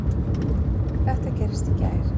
Þetta gerðist í gær.